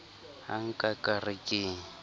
ha nka ka re ke